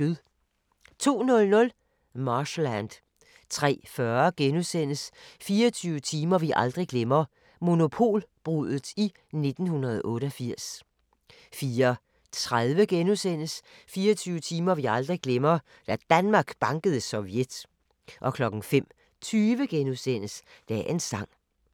02:00: Marshland 03:40: 24 timer vi aldrig glemmer: Monopolbruddet i 1988 * 04:30: 24 timer vi aldrig glemmer – Da Danmark bankede Sovjet * 05:20: Dagens sang *